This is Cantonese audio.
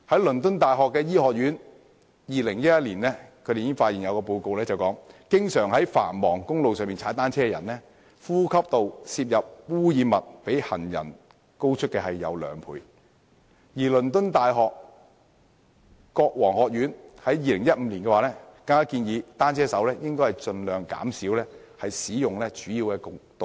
倫敦大學醫學院在2011年已有報告發現，經常在繁忙公路踏單車的人士，其呼吸道攝入的污染物比行人高出兩倍，而倫敦大學國王學院更在2015年建議單車手應盡量減少使用主要道路。